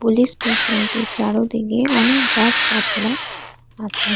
স্টেশনটির চারোদিগে অনেক গাছ গাছড়া আছে।